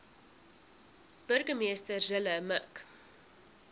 burgemeester zille mik